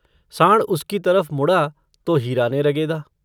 साँड़ उसकी तरफ मुड़ा तो हीरा ने रगेदा।